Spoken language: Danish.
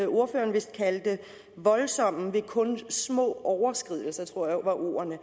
ordføreren vist kaldte voldsomme ved kun små overskridelser det tror jeg var ordene